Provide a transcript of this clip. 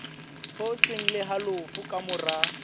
hoseng le halofo ka mora